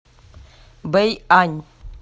бэйань